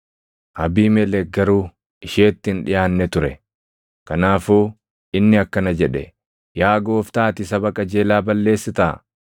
Abiimelek garuu isheetti hin dhiʼaanne ture; kanaafuu inni akkana jedhe; “Yaa Gooftaa ati saba qajeelaa balleessitaa?